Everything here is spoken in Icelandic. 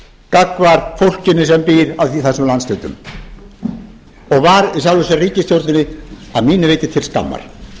gagnvart fólkinu sem býr í þessum landshlutum og var í sjálfu sér ríkisstjórninni að mínu viti til skammar